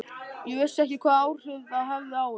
Ég vissi ekki hvaða áhrif það hefði á þig.